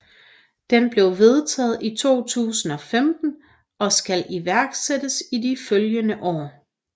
Den blev vedtaget i 2015 og skal iværksættes i de følgende år